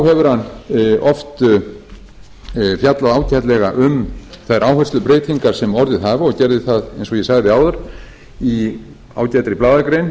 engu að síður hefur hann oft fjallað ágætlega um þær áherslubreytingar sem orðið hafa og gerði það eins og ég sagði áður í ágætri blaðagrein